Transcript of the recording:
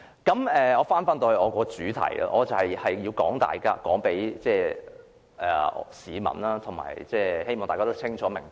返回我的主題，我想告訴各位市民，我的立場是中立的，希望大家清楚明白。